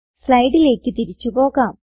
സ്ലൈഡിലേക്ക് തിരിച്ചു പോകാം